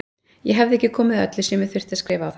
Ég hefði ekki komið öllu sem ég þurfti að skrifa á það.